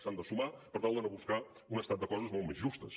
s’han de sumar per tal d’anar a buscar un estat de coses molt més justes